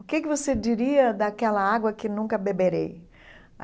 O que que você diria daquela água que nunca beberei?